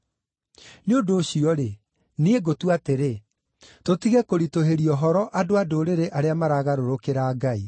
“Nĩ ũndũ ũcio-rĩ, niĩ ngũtua atĩrĩ, tũtige kũritũhĩria ũhoro andũ-a-Ndũrĩrĩ arĩa maragarũrũka kũrĩ Ngai.